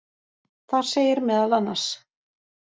Þar segir meðal annars: